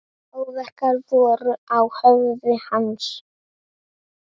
Áverkar voru á höfði hans.